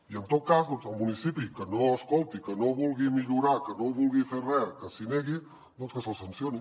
i en tot cas el municipi que no escolti que no vulgui millorar que no vulgui fer re que s’hi negui doncs que se’l sancioni